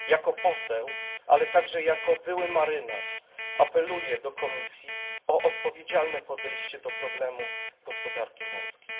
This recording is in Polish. Jako poseł, ale także jako były marynarz, apeluję do Komisji o odpowiedzialne podejście od problemu gospodarki morskiej.